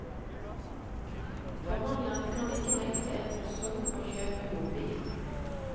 Forhandleren kan ikke nekte en person å kjøpe mobil.